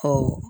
Ɔ